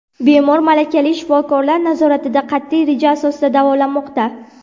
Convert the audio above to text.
Bemor malakali shifokorlar nazoratida qat’iy reja asosida davolanmoqda.